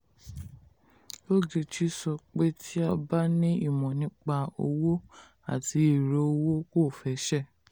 ogechi sọ pé tí a bá ní imọ̀ nípa owó àti ẹ̀rọ owó kò fẹsẹ̀.